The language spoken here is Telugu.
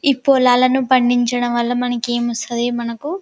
ఈ పొలాలలను పండించడం వాళ్ళ మనకెమొస్తది మనాకు--